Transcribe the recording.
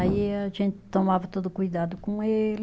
Aí a gente tomava todo cuidado com ele.